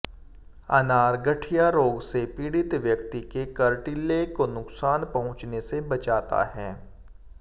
अनार गठिया रोग से पीड़ित व्यक्ति के कार्टिलेग को नुकसान पहुंचने से बचाता है